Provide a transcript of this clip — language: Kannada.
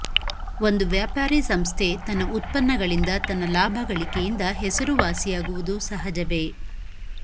ಒಂದು ವ್ಯಾಪಾರೀ ಸಂಸ್ಥೆ ತನ್ನ ಉತ್ಪನ್ನಗಳಿಂದ ತನ್ನ ಲಾಭ ಗಳಿಕೆಯಿಂದ ಹೆಸರುವಾಸಿಯಾಗುವುದು ಸಹಜವೇ